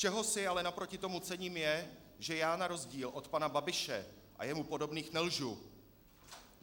Čeho si ale naproti tomu cením, je, že já na rozdíl od pana Babiše a jemu podobných nelžu.